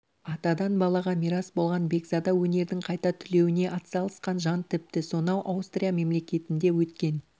атадан балаға мирас болған бекзада өнердің қайта түлеуіне атсалысқан жан тіпті сонау аустрия мемлекетінде өткен